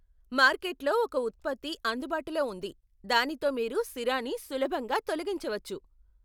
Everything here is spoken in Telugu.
మార్కెట్ లో ఒక ఉత్పత్తి అందుబాటులో ఉంది, దానితో మీరు సిరాని సులభంగా తొలగించవచ్చు.